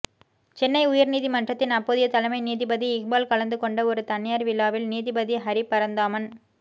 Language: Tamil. சென்னை உயர்நீதிமன்றத்தின் அப்போதைய தலைமை நீதிபதி இக்பால் கலந்து கொண்ட ஒரு தனியார் விழாவில் நீதிபதி ஹரிபரந்தாமன்